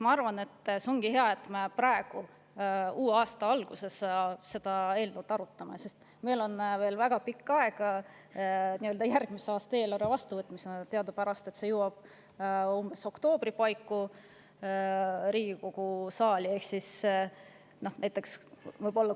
Ma arvan, et see ongi hea, et me arutame seda eelnõu praegu, uue aasta alguses, sest meil on järgmise aasta eelarve vastuvõtmiseni veel väga aega, teadupärast jõuab Riigikogu saali oktoobri paiku.